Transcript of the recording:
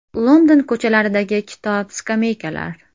London ko‘chalaridagi kitob-skameykalar.